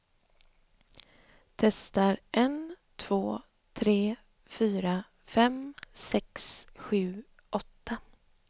Testar en två tre fyra fem sex sju åtta.